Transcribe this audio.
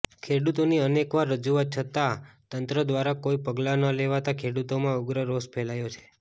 ખેડૂતોની અનેકવાર રજૂઆત છતાં તંત્ર દ્વારા કોઈ પગલા ન લેવાતા ખેડૂતોમાં ઉગ્ર રોષ ફેલાયો છે